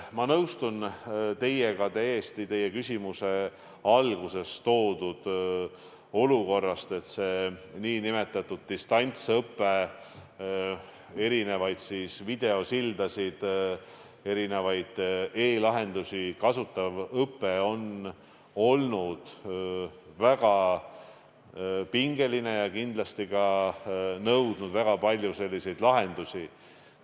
Ma nõustun teiega täiesti ka teie küsimuse alguses toodud olukorra suhtes, et see nn distantsõpe, st videosildasid ja erinevaid e-lahendusi kasutav õpe, on olnud väga pingeline ja kindlasti nõudnud väga palju lahendusi.